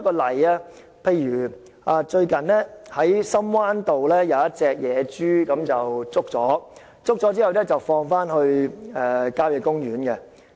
例如，最近在深灣道有一隻野豬被捕捉，然後放回郊野公園。